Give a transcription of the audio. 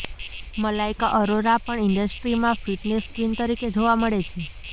મલાઇકા અરોરા પણ ઇન્ડસ્ટ્રીમાં fitness queen તરીકે જોવા મળે છે